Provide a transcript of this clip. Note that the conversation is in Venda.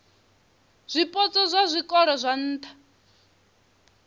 zwipotso zwa zwikolo zwa nha